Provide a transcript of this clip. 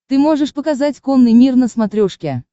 ты можешь показать конный мир на смотрешке